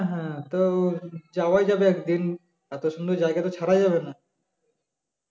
হ্যা তো যাওয়াই যাবে একদিন এত সুন্দর জায়গা তো ছাড়া যাবে না